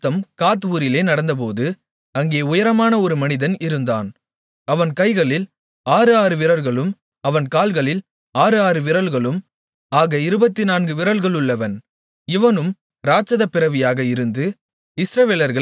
இன்னும் ஒரு யுத்தம் காத் ஊரிலே நடந்தபோது அங்கே உயரமான ஒரு மனிதன் இருந்தான் அவன் கைகளில் ஆறு ஆறு விரல்களும் அவன் கால்களில் ஆறு ஆறு விரல்களும் ஆக இருபத்து நான்கு விரல்களுள்ளவன் இவனும் இராட்சத பிறவியாக இருந்து